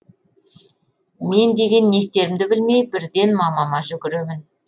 мен деген не істерімді білмей бірден мамама жүгіремін